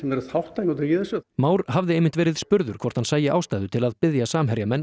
eru þátttakendur í þessu Már hafði einmitt verið spurður hvort hann sæi ástæðu til að biðja Samherjamenn